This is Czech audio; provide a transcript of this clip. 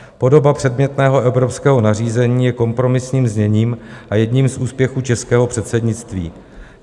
Podoba předmětného evropského nařízení je kompromisním zněním a jedním z úspěchů českého předsednictví.